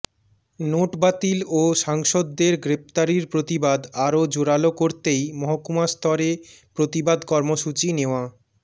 note বাতিল ও সাংসদদের গ্রেফতারির প্রতিবাদ আরও জোরাল করতেই মহকুমাস্তরে প্রতিবাদ কর্মসূচি নেওয়া